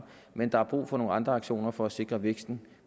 men der er brug for nogle andre aktioner for at sikre væksten